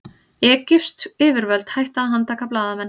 Egypsk yfirvöld hætti að handtaka blaðamenn